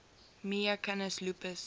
mya canis lupus